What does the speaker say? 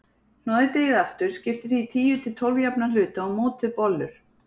Hnoðið deigið aftur, skiptið því í tíu til tólf jafna hluta og mótið bollur.